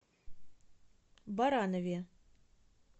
баранове